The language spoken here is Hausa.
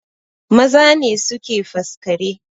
Maza ne suke faskare